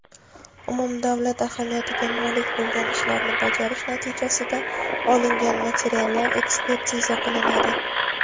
umumdavlat ahamiyatiga molik bo‘lgan ishlarni bajarish natijasida olingan materiallar ekspertiza qilinadi.